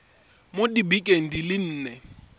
mo dibekeng di le nne